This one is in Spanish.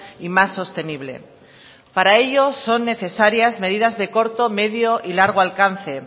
y más sostenible para ello son necesarias medidas de corto medio y largo alcance